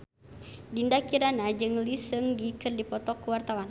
Dinda Kirana jeung Lee Seung Gi keur dipoto ku wartawan